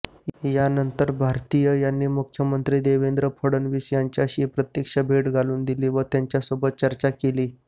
यानंतर भारतीय यांनी मुख्यमंत्री देवेंद्र फडणवीस यांच्याशी प्रत्यक्ष भेट घालून दिली व त्यांच्यासोबत चर्चा केली